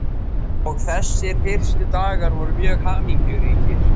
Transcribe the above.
Og þessir fyrstu dagar voru mjög hamingjuríkir.